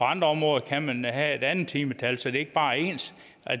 andre områder kan have et andet timetal så det ikke bare er ens